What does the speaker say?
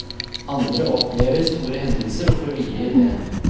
Andre opplever store hendelser og får hvile i det.